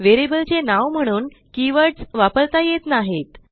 variable चे नाव म्हणून कीवर्ड्स वापरता येत नाहीत